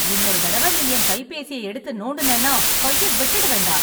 இன்னொரு தடவை நீ என் கைபேசியை எடுத்து நோண்டுனேனா கைய வெட்டிடுவேன்டா.